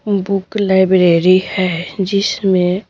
book library है जिश में--